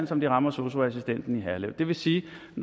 som de rammer sosu assistenten i herlev det vil sige